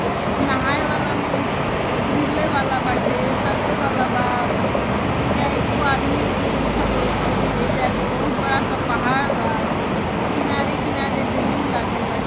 नहाए वाला में झूले वाला बाटे सरके वाला बा। एईजा एक्को आदमी ऊदमी नइखन लोग औरी एईजा एगो बहुत बड़ा सा पहाड़ बा। किनारे-किनारे रेलिंग लागल बा--